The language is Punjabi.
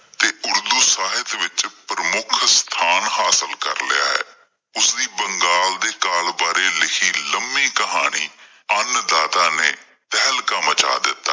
ਅਤੇ ਉਰਦੂ ਸਾਹਿਤ ਵਿੱਚ ਪ੍ਰਮੁੱਖ ਸਥਾਨ ਹਾਸਿਲ ਕਰ ਲਿਆ ਹੈ, ਉਸ ਦੀ ਬੰਗਾਲ ਦੇ ਕਾਲ ਬਾਰੇ ਲਿਖੀ ਲੰਬੀ ਕਹਾਣੀ ਅੰਨ ਦਾਤਾ ਨੇ ਤਹਿਲਕਾਂ ਮਚਾਂ ਦਿੱਤਾ।